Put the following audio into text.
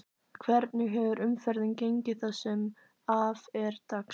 Hvernig hefur umferðin gengið það sem að af er dags?